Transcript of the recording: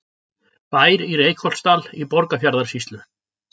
Bær í Reykholtsdal í Borgarfjarðarsýslu.